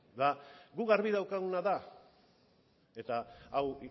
guk garbi daukaguna da eta hau